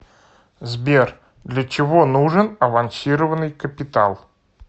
сбер для чего нужен авансированный капитал